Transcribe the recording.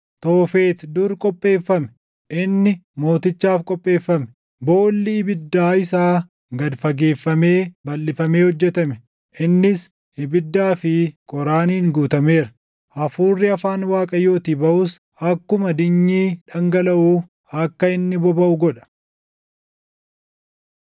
Toofet dur qopheeffame; inni mootichaaf qopheeffame. Boolli ibiddaa isaa gad fageeffamee balʼifamee hojjetame; innis ibiddaa fi qoraaniin guutameera; hafuurri afaan Waaqayyootii baʼus akkuma dinyii dhangalaʼuu akka inni bobaʼu godha.